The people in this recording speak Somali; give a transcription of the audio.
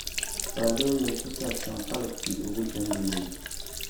faallooyin ku saabsan qalabkii ugu dambeeyay